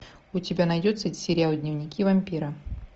у тебя найдется сериал дневники вампира